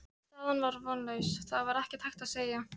Staðan var vonlaus, það var ekkert hægt að segja.